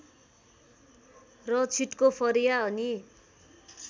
र छिटको फरिया अनि